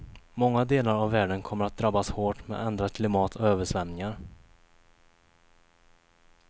Många delar av världen kommer att drabbas hårt med ändrat klimat och översvämningar.